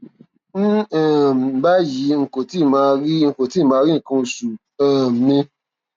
ní um báyìí n kò tíì máa kò tíì máa rí nǹkan oṣù um mi